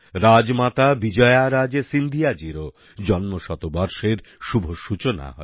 রাজমাতা বিজয়ারাজে সিন্ধিয়াজীরও জন্ম শতবর্ষের শুভ সূচনা হবে